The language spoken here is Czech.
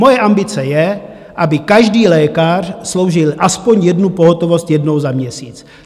Moje ambice je, aby každý lékař sloužil aspoň jednu pohotovost jednou za měsíc.